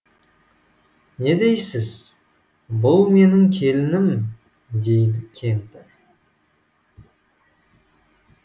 не дейсіз бұл менің келінім дейді кемпір